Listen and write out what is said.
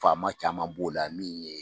Faama caman b'o la min ye